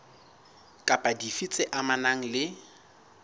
kapa dife tse amanang le